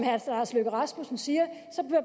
herre lars løkke rasmussen siger